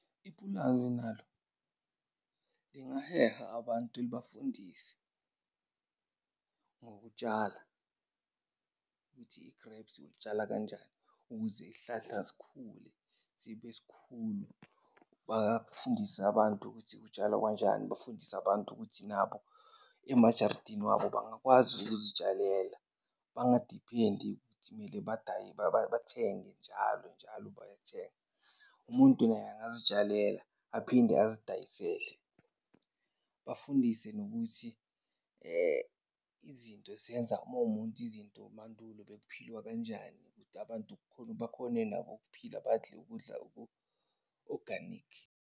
Ipulazi nalo lingaheha abantu libafundise ngokutshala, ukuthi i-grapes ulitshala kanjani ukuze isihlahla sikhule sibe sikhulu. Bangafundisa abantu ukuthi kutshwalwa kanjani. Bafundise abantu ukuthi nabo emajaridini wabo bangakwazi ukuzitshalela, bangadiphendi ukuthi mele bathenge njalo njalo bayathenga. Umuntu naye angazitshalela aphinde azidayisele. Bafundise nokuthi izinto ziyenza, uma uwumuntu izinto mandulo bekuphilwa kanjani ukuthi abantu bakhone nabo ukuphila badle ukudla oku-oganikhi.